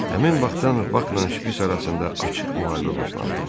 Həmin vaxtdan Bakla şpits arasında açıq müharibə başlandı.